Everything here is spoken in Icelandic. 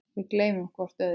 Við gleymum hvort öðru.